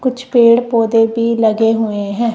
कुछ पेड़ पौधे भी लगे हुएं हैं।